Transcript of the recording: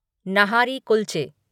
नाहरी कुल्चे